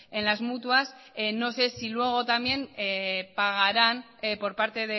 en las mutuas no sé si luego también pagaran por parte